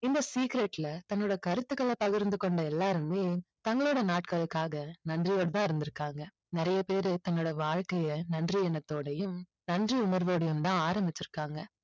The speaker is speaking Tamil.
இந்த secret ல தன்னோட கருத்துக்களை பகிர்ந்து கொண்ட எல்லாருமே தங்களோட நாட்களுக்காக நன்றியோடு தான் இருந்திருக்காங்க. நிறைய பேரு தன்னோட வாழ்க்கையை நன்றி எண்ணத்தோடையும் நன்றி உணர்வோடையும் தான் ஆரம்பிச்சிருக்காங்க.